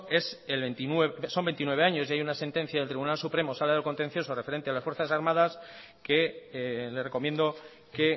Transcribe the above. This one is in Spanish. son veintinueve años y hay una sentencia del tribunal supremo sala de lo contencioso referente a las fuerzas armadas que le recomiendo que